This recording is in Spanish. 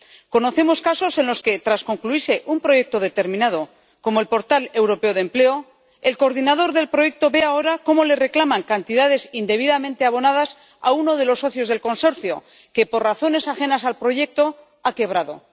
Conocemos casos en los que, tras concluirse un proyecto determinado, como el portal europeo de empleo, el coordinador del proyecto ve ahora cómo le reclaman cantidades indebidamente abonadas a uno de los socios del consorcio que, por razones ajenas al proyecto, ha quebrado.